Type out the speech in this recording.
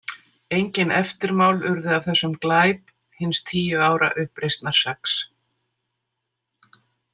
Engin eftirmál urðu af þessum glæp hins tíu ára uppreisnarseggs.